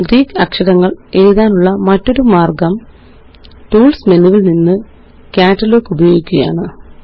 Greek അക്ഷരങ്ങള് എഴുതാനുള്ള മറ്റൊരു മാര്ഗ്ഗം ടൂള്സ് മെനുവില് നിന്ന് കാറ്റലോഗ് ഉപയോഗിക്കുകയാണ്